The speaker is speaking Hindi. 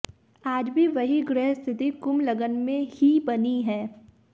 आज भी वही ग्रह स्थिति कुंभ लग्न में ही बनी है